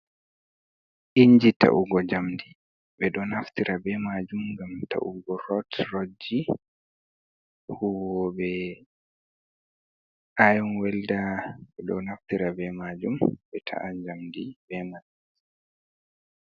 Inji ta'ugo njamndi, ɓe ɗo naftira bee maajum ngam ta'ugo rot rotji. Huwooɓe aayom welda ɓe ɗo naftira bee maajum bee ta'a njamndi bee man.